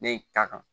Ne ye ka kan